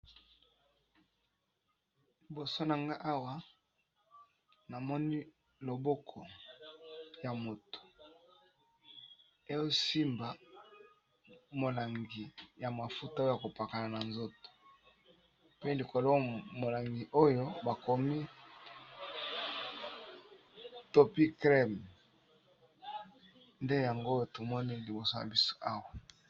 Liboso nanga awa namoni loboko ya moto ezo simba molangi ya mafuta oyo ya kopakana na nzoto. Pe likolo molangi oyo bakomi topycrem nde yango tomoni liboso na biso awa.